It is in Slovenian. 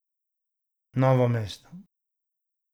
Novo mesto.